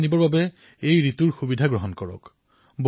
আপোনালোক আপোনালোকৰ পৰিয়াল আপোনালোকৰ মিত্ৰ কোনেও এই সুযোগ নেৰিব